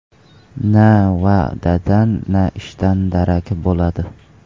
Na va’dadan, na ishdan darak bo‘ladi.